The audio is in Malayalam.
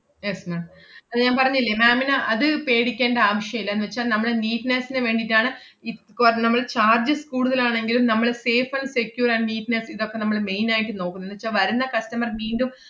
yes ma'am അത് ഞാൻ പറഞ്ഞില്ലേ ma'am ന് അത് പേടിക്കേണ്ട ആവശ്യല്ല എന്നുവെച്ചാ നമ്മള് neatness ന് വേണ്ടീട്ടാണ് ഇപ്~ കൊ~ നമ്മള് charges കൂടുതലാണെങ്കിലും നമ്മള് safe and secure and neatness ഇതക്കെ നമ്മള് main ആയിട്ട് നോക്കുന്നെ. എന്നുവെച്ചാ വരുന്ന customer മീണ്ടും,